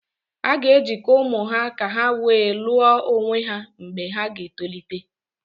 A ga-ejikọ ụmụ ha ka ha wee lụọ onwe ha mgbe ha ga-etolite